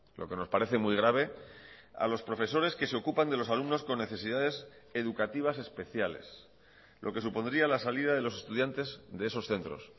lo que nos parece muy grave a los profesores que se ocupan de los alumnos con necesidades educativas especiales lo que supondría la salida de los estudiantes de esos centros